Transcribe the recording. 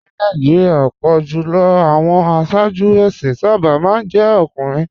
Ní Nàìjíríà, ọ̀pọ̀ jù lọ àwọn aṣáájú ẹ̀sìn sábà máa ń jẹ́ ọkùnrin